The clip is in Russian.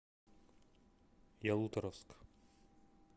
ялуторовск